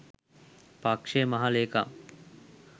පක්ෂයේ මහ ලේකම්